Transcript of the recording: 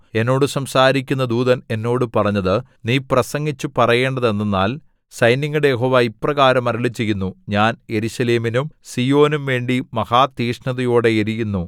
എന്നോട് സംസാരിക്കുന്ന ദൂതൻ എന്നോട് പറഞ്ഞത് നീ പ്രസംഗിച്ചു പറയേണ്ടതെന്തെന്നാൽ സൈന്യങ്ങളുടെ യഹോവ ഇപ്രകാരം അരുളിച്ചെയ്യുന്നു ഞാൻ യെരൂശലേമിനും സീയോനും വേണ്ടി മഹാതീക്ഷ്ണതയോടെ എരിയുന്നു